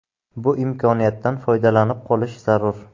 Bu imkoniyatdan foydalanib qolish zarur!